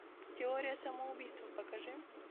теория самоубийства покажи